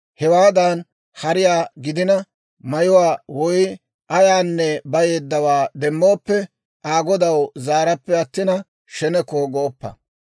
Hewaadan hariyaa gidina, mayuwaa woy ayaanne bayeeddawaa demmooppe, Aa godaw zaarappe attina, sheneko gooppa.